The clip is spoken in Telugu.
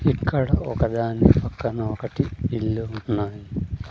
ఇక్కడ ఒకదాని పక్కన ఒకటి ఇల్లు ఉన్నాయి.